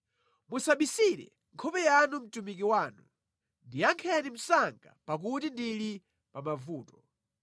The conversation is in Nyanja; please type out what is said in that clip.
Musabisire nkhope yanu mtumiki wanu, ndiyankheni msanga, pakuti ndili pa mavuto.